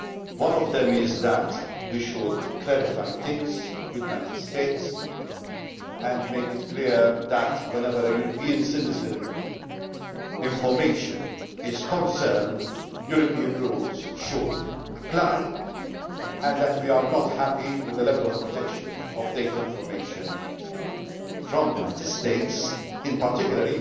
One of them is that we should clarify things with the United States and make it clear that, whenever a European citizen's information is concerned, European rules should apply, and that we are not happy with the level of protection of data information from the United States in particular.